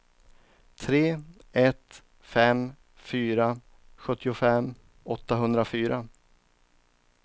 tre ett fem fyra sjuttiofem åttahundrafyra